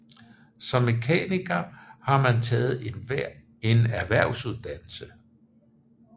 Som mekaniker har man taget en erhvervsuddannelse